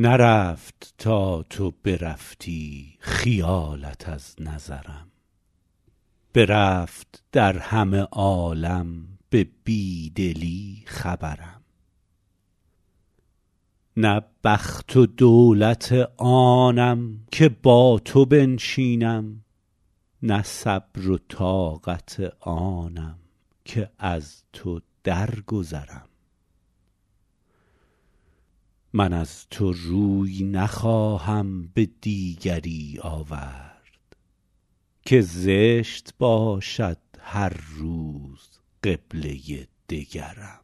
نرفت تا تو برفتی خیالت از نظرم برفت در همه عالم به بی دلی خبرم نه بخت و دولت آنم که با تو بنشینم نه صبر و طاقت آنم که از تو درگذرم من از تو روی نخواهم به دیگری آورد که زشت باشد هر روز قبله دگرم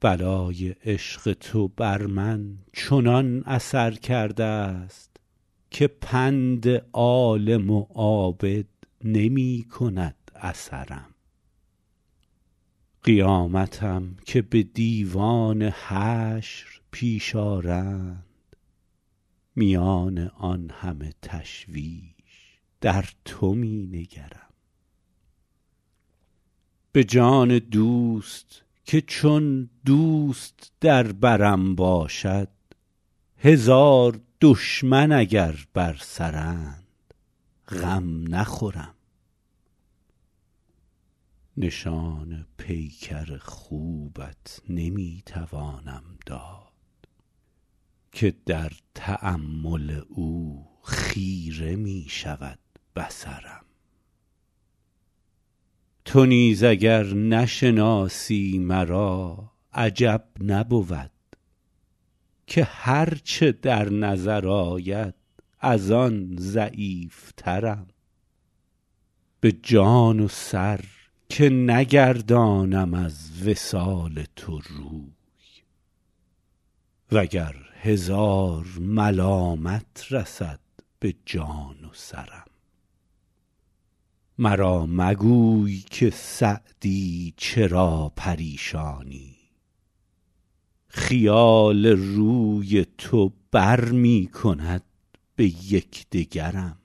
بلای عشق تو بر من چنان اثر کرده ست که پند عالم و عابد نمی کند اثرم قیامتم که به دیوان حشر پیش آرند میان آن همه تشویش در تو می نگرم به جان دوست که چون دوست در برم باشد هزار دشمن اگر بر سرند غم نخورم نشان پیکر خوبت نمی توانم داد که در تأمل او خیره می شود بصرم تو نیز اگر نشناسی مرا عجب نبود که هر چه در نظر آید از آن ضعیفترم به جان و سر که نگردانم از وصال تو روی و گر هزار ملامت رسد به جان و سرم مرا مگوی که سعدی چرا پریشانی خیال روی تو بر می کند به یک دگرم